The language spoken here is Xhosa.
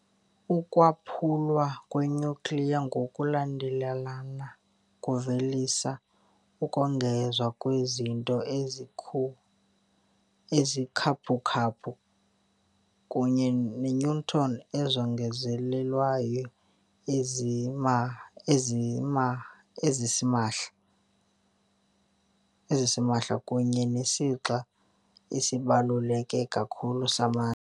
Ukwaphulwa kwe-nucleus ngokulandelelana kuvelisa, ukongeza kwizinto ezikhaphukhaphu, kunye neeneutron ezongezelelweyo zasimahla, kunye nesixa esibaluleke kakhulu samandla.